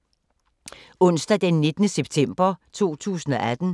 Onsdag d. 19. september 2018